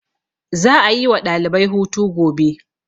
za a yi wa ɗalibai hutu gobe